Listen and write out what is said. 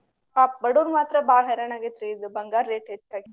ಪಾಪ ಬಡುರಿಗ ಮಾತ್ರ ಬಾಳ ಹೈರಾಣ ಆಗೇತ್ರಿ ಈಗ ಬಂಗಾರ rate ಹೆಚ್ಚಾಗಿ.